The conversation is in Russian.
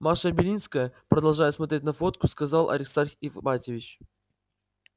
маша белинская продолжая смотреть на фотку сказал аристарх ипатьевич